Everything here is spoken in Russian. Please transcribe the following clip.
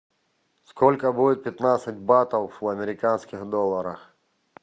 сколько будет пятнадцать батов в американских долларах